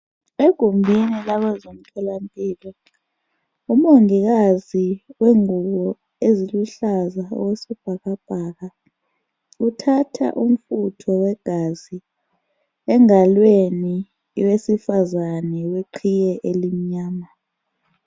Egumbini labezemtholampilo umongikazi wengubo eziluhlaza okwesibhakabhaka uthatha umfutho wegazi engalweni yowesifazane weqhiye elimnyama.